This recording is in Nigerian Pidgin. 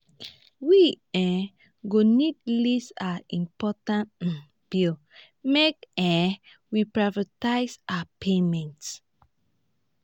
we um go need list our important um bills make um we prioritize our payments